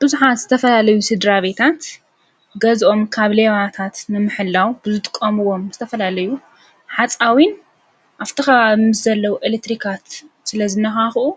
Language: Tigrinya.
ብዙኃት ዝተፈላለዩ ሥድራ ቤታት ገዝኦም ካብ ሌባታት ምምሕላው ብዙጥቆምዎም ዝተፈላለዩ ሓፃዊን ኣፍተኸባብ ምስ ዘለዉ ኤለትሪካት ስለ ዝነካኽኡ